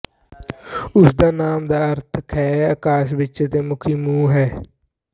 ਉਸ ਦੇ ਨਾਮ ਦਾ ਅਰਥ ਖੇ ਅਕਾਸ਼ ਵਿੱਚ ਅਤੇ ਮੁਖੀ ਮੂੰਹ ਹੈ